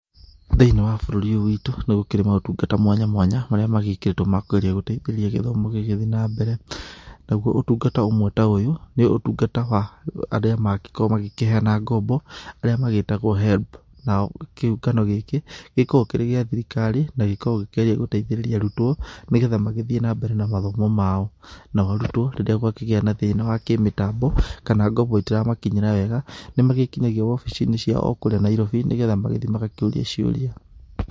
Thiniĩ wa bũrũri ũyũ witũ, nĩgũkĩrĩ maũtungata mwanya mwanya, marĩa magĩkĩrĩtwo ma kũgeria gũteithĩrĩria gĩthomo gĩgĩthi na mbere. Naguo ũtungata ũmwe ta ũyũ nĩũtungata wa arĩa magĩkoragwo magĩkĩheana ngombo arĩa magĩtagwo HELB. Nao kĩũngano gĩkĩ, gĩkoo kĩrĩ gĩa thirikari na gĩkoragwo gĩkĩgeria gũteithĩrĩria arutwo, nĩgetha magĩthiĩ na mbere na mathomo mao. Nao arutwo, rĩrĩa gwakĩgĩa na thina wa kĩmĩtambo, kana ngombo itiramakinyĩra wega, nĩmagĩkinyagia wobicinĩ ciao o kũrĩa Nairobi, nĩgetha magĩthiĩ magakĩũrie ciũria.